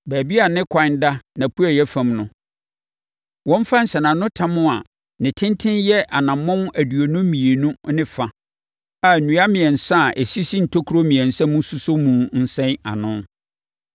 Baabi a ne kwan da nʼapueeɛ fam no, wɔmfa nsɛnanotam a ne tenten yɛ anammɔn aduonu mmienu ne fa a nnua mmiɛnsa a ɛsisi ntokuro mmiɛnsa mu sosɔ mu nsɛn ano.